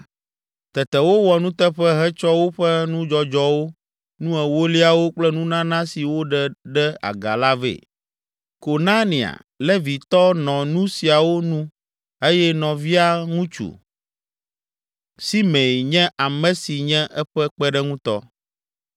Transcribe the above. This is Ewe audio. Tete wowɔ nuteƒe hetsɔ woƒe nudzɔdzɔwo, nu ewoliawo kple nunana si woɖe ɖe aga la vɛ. Konania, Levitɔ, nɔ nu siawo nu eye nɔvia ŋutsu. Simei, nye ame si nye eƒe kpeɖeŋutɔ.